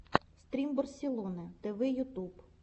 стрим барселоны тэвэ ютуб